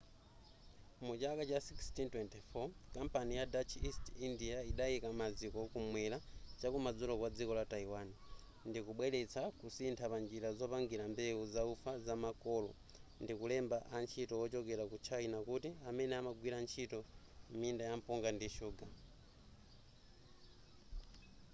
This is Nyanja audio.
mu chaka 1624 kampani ya dutch east india idayika maziko kumwera chakumadzulo kwa dziko la taiwan ndikubweretsa kusintha pa njira zopangira mbewu zaufa zamakolo ndikulemba antchito wochokera ku china kuti emene amagwira ntchito m'minda ya mpunga ndi shuga